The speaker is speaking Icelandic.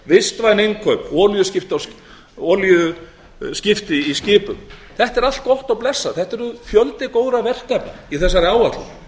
vistvæn innkaup olíuskipti í skipum þetta er allt gott og blessað þetta er fjöldi góðra verkefna í þessari áætlun